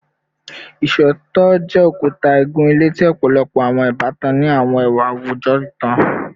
Iṣootọ jẹ okuta igun-ile ti ọpọlọpọ awọn ibatan ni awọn awujọ itan